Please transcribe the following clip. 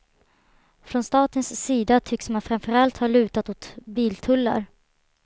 Från statens sida tycks man framförallt ha lutat åt biltullar.